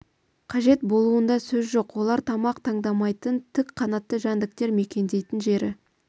қажет болуында сөз жоқ олар тамақ таңдамайтын тік қанатты жәндіктер мекендейтін жері